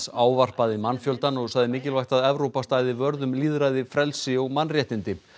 ávarpaði mannfjöldann og sagði mikilvægt að Evrópa stæði vörð um lýðræði frelsi og mannréttindi